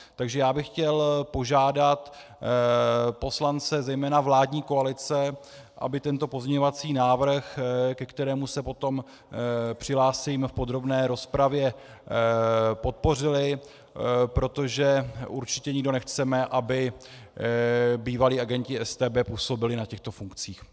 Takže já bych chtěl požádat poslance zejména vládní koalice, aby tento pozměňovací návrh, ke kterému se potom přihlásím v podrobné rozpravě, podpořili, protože určitě nikdo nechceme, aby bývalí agenti StB působili na těchto funkcích.